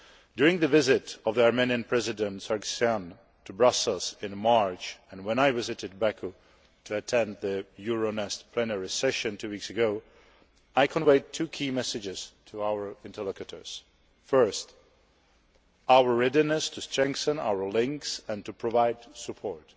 During the visit of the Armenian President Sargsyan to Brussels in March, and when I visited Baku to attend the Euronest plenary session two weeks ago, I conveyed two key messages to our interlocutors first, our readiness to strengthen our links and to provide support,